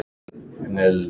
Þetta er ekki satt!